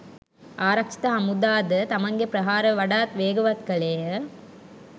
ආරක්ෂක හමුදා ද තමන්ගේ ප්‍රහාර වඩාත් වේගවත් කළේය.